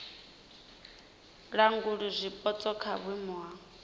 langula zwipotso kha vhuimo ha